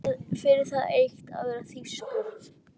Fyrir það eitt að vera þýskur.